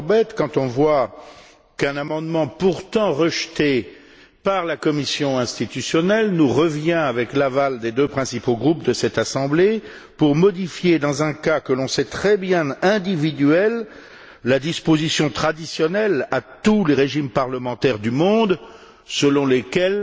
Corbett quand on voit qu'un amendement pourtant rejeté par la commission institutionnelle nous revient avec l'aval des deux principaux groupes de cette Assemblée pour modifier, dans un cas dont on sait très bien qu'il est individuel, la disposition traditionnelle commune à tous les régimes parlementaires du monde, selon laquelle